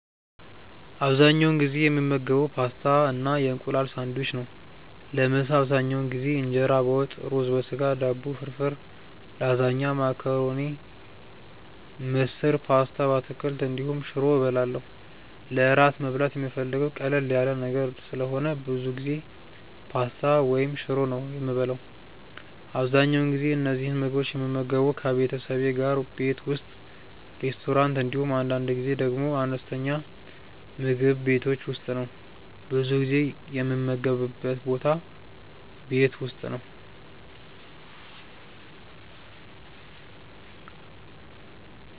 አብዛኛውን ጊዜ የምመገበው ፓስታ እና የእንቁላል ሳንድዊች ነው። ለምሳ አብዛኛውን ጊዜ እንጀራ በወጥ፣ ሩዝ በስጋ፣ ዳቦ ፍርፍር፣ ላዛኛ፣ መኮረኒ፣ ምስር፣ ፓስታ በአትክልት እንዲሁም ሽሮ እበላለሁ። ለእራት መብላት የምፈልገው ቀለል ያለ ነገር ስለሆነ ብዙ ጊዜ ፓስታ ወይም ሽሮ ነው የምበላው። አብዛኛውን ጊዜ እነዚህን ምግቦች የምመገበው ከቤተሰቤ ጋር ቤት ውስጥ፣ ሬስቶራንት እንዲሁም አንዳንድ ጊዜ ደግሞ አነስተኛ ምግብ ቤቶች ውስጥ ነው። ብዙ ጊዜ የምመገብበት ቦታ ቤት ውስጥ ነው።